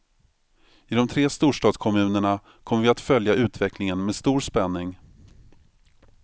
I de tre storstadskommunerna kommer vi att följa utvecklingen med stor spänning.